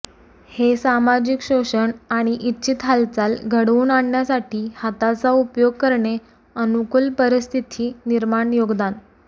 हे सामाजिक शोषण आणि इच्छित हालचाल घडवून आणण्यासाठी हाताचा उपयोग करणे अनुकूल परिस्थिती निर्माण योगदान